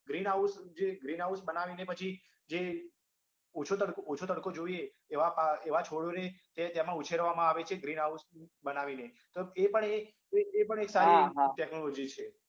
Greenhouse જે Greenhouse બનાવીને પછી જે ઓછો તડકો ઓછો તડકો જોઈએ એવા પાક એવા છોડને તેમાં ઉછેરવામાં આવે છે Greenhouse બનાવીને તો એ પણ એ એ પણ એક સારી technology છે